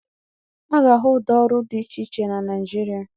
A ga-ahụ ụdị ọrụ dị iche iche na Naịjirịa.